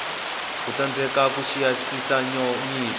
wo tsandzeka ku xiyisisa nyiko